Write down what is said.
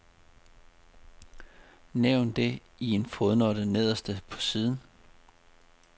Nævn det i en fodnote nederst på siden.